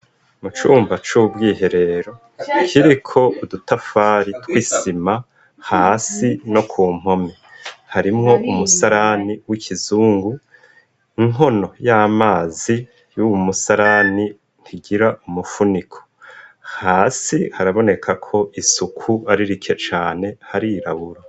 Mu cumba c'ubwiherero kiri ko udutafari twisima hasi no ku mpomi harimwo umusalani w'ikizungu inkono y'amazi y'uwu musalani ntigira umufuniko hasi haraboneka ko isuku ari rikecae ane harirabura.